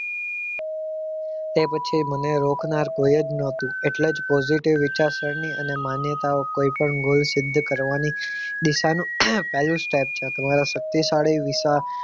એ પછી મને રોકનાર કોઈય જ ન હતું એટલે જ positive વિચારસરણી અને માન્યતાઓ કોઈ પણ goal સિદ્ધ કરવાની દિશાનું પહેલું step છે તમારો શક્તિશાળી વિચાર